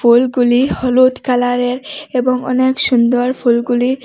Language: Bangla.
ফুলগুলি হলুদ কালারের এবং অনেক সুন্দর ফুলগুলি।